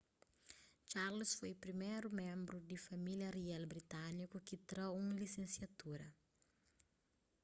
charles foi priméru ménbru di família rial britániku ki tra un lisensiatura